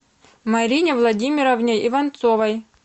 марине владимировне иванцовой